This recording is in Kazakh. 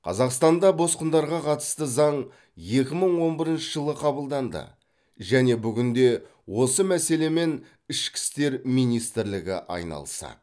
қазақстанда босқындарға қатысты заң екі мың он бірінші жылы қабылданды және бүгінде осы мәселемен ішкі істер министрлігі айналысады